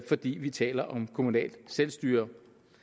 fordi vi taler om kommunalt selvstyre